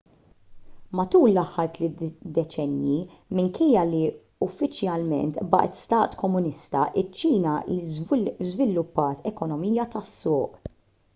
matul l-aħħar tliet deċennji minkejja li uffiċjalment baqgħet stat komunista iċ-ċina żviluppat ekonomija tas-suq